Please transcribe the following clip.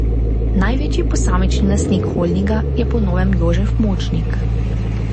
Največji posamični lastnik holdinga je po novem Jožef Močnik.